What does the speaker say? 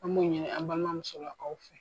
An b' o ɲini an balima musolakaw fɛ.